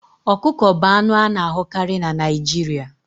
Okuko bụ anụ a na-ahụkarị na Naijiria